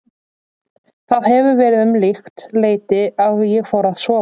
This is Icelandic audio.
Það hefur verið um líkt leyti og ég fór að sofa.